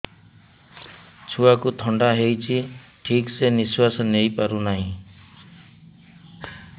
ଛୁଆକୁ ଥଣ୍ଡା ହେଇଛି ଠିକ ସେ ନିଶ୍ୱାସ ନେଇ ପାରୁ ନାହିଁ